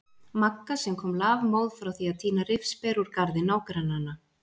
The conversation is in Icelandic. Magga sem kom lafmóð frá því að tína rifsber úr garði nágrannanna.